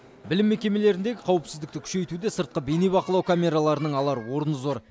білім мекемелеріндегі қауіпсіздікті күшейтуде сыртқы бейнебақылау камераларының алар орны зор